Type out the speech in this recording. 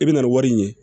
I bɛ na ni wari ɲini ye